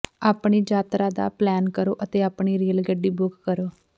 ਆਪਣੀ ਯਾਤਰਾ ਦਾ ਪਲੈਨ ਕਰੋ ਅਤੇ ਆਪਣੀ ਰੇਲ ਗੱਡੀ ਬੁੱਕ ਕਰੋ